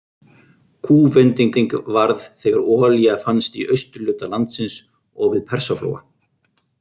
Kúvendingin varð þegar olía fannst í austurhluta landsins og við Persaflóa.